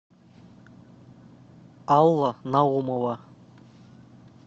алла наумова